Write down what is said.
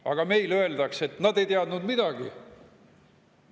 Aga meil öeldakse, et nad ei teadnud midagi.